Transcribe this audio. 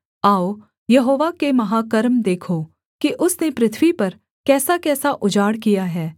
आओ यहोवा के महाकर्म देखो कि उसने पृथ्वी पर कैसाकैसा उजाड़ किया है